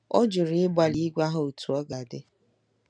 Ọ jụrụ ịgbalị ịgwa ha otú ọ ga-adị.